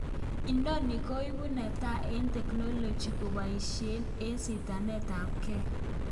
Noni koibu netaa eng technology kepaishen eng sitanetap gee..